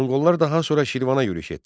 Monqollar daha sonra Şirvana yürüş etdilər.